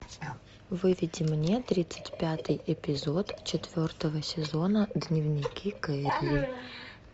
выведи мне тридцать пятый эпизод четвертого сезона дневники кэрри